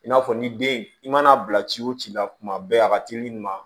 I n'a fɔ ni den i mana bila ci wo ci la kuma bɛɛ a ka teli nin ma